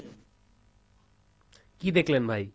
কী দেখলেন ভাই?